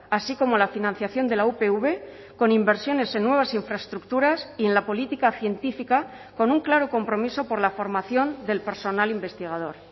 así como la financiación de la upv con inversiones en nuevas infraestructuras y en la política científica con un claro compromiso por la formación del personal investigador